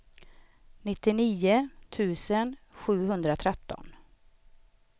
nittionio tusen sjuhundratretton